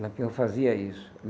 Lampião fazia isso.